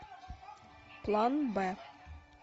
план б